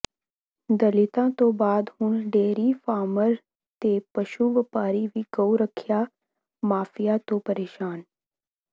ਦਲਿਤਾਂ ਤੋਂ ਬਾਅਦ ਹੁਣ ਡੇਅਰੀ ਫਾਰਮਰ ਤੇ ਪਸ਼ੂ ਵਪਾਰੀ ਵੀ ਗਊ ਰੱਖਿਆ ਮਾਫੀਆ ਤੋਂ ਪਰੇਸ਼ਾਨ